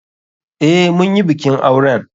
Eh, munyi bikin auren.